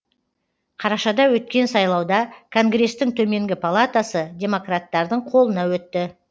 қарашада өткен сайлауда конгрестің төменгі палатасы демократтардың қолына өтті